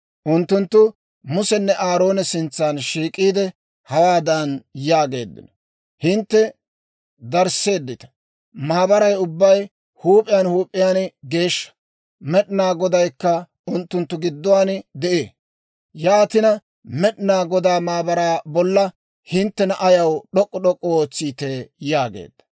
Unttunttu Musenne Aaroona sintsa shiik'iide, hawaadan yaageeddino; «Hintte darisseeddita! Maabaray ubbay huup'iyaan huup'iyaan geeshsha; Med'inaa Godaykka unttunttu gidduwaan de'ee; yaatina Med'inaa Godaa maabaraa bolla hinttena ayaw d'ok'k'u d'ok'k'u ootsiitee?» yaageeddino.